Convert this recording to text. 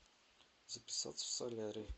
записаться в солярий